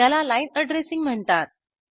त्याला line addressing म्हणतात